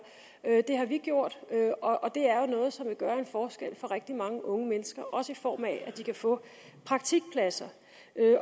det har vi gjort og det er jo noget som vil gøre en forskel for rigtig mange unge mennesker også i form af at de kan få praktikpladser